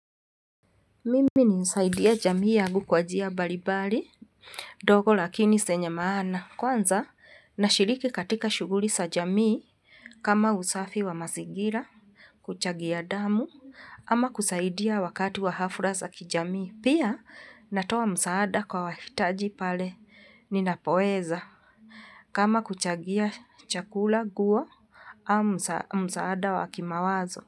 Mimi nilisaidia jamii yangu kwa njia mbalimbali. Ndogo lakini zenye maana. Kwanza, nashiriki katika shughuli za jamii kama usafi wa mazingira, kuchangia damu, ama kusaidia wakati wa hafla za kijamii. Pia, natoa msaada kwa wahitaji pale ninapoweza kama kuchangia chakula nguo au msaada wa kimawazo.